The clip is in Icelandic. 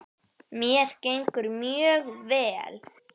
Mér gengur mjög vel.